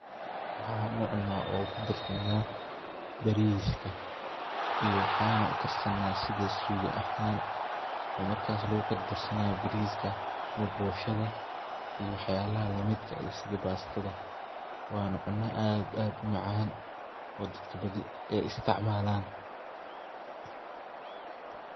waxan ucunaa oo kudarsanaa bariska iyo waxana ukar sanaa sida sugaa ahan oo markas lugu kordarsanayo bariiska ama boshada iyo wax yalaha lamidka ah sida bastada waana cuna aad umacaan oo dadka badi ay isticmaalan